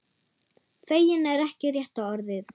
Feginn er ekki rétta orðið.